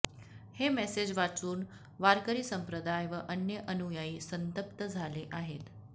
हे मेसेज वाचून वारकरी संप्रदाय व अन्य अनुयायी संतप्त झाले आहेत